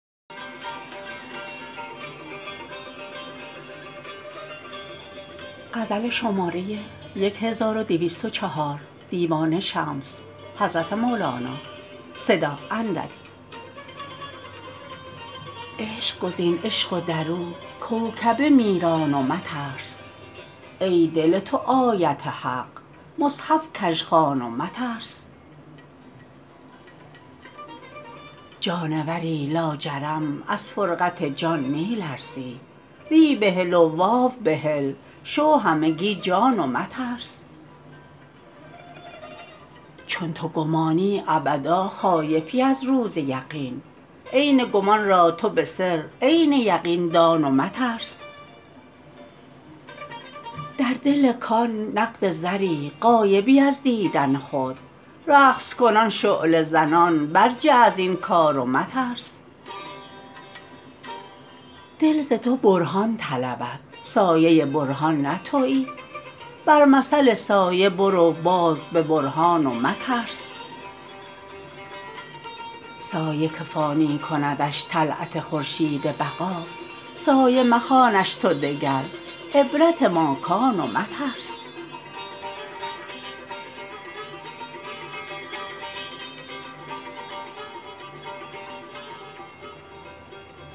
عشق گزین عشق و در او کوکبه می ران و مترس ای دل تو آیت حق مصحف کژ خوان و مترس جانوری لاجرم از فرقت جان می لرزی ری بهل و واو بهل شو همگی جان و مترس چون تو گمانی ابدا خایفی از روز یقین عین گمان را تو به سر عین یقین دان و مترس در دل کان نقد زری غایبی از دیدن خود رقص کنان شعله زنان برجه از این کار و مترس دل ز تو برهان طلبد سایه برهان نه توی بر مثل سایه برو باز به برهان و مترس سایه که فانی کندش طلعت خورشید بقا سایه مخوانش تو دگر عبرت ماکان و مترس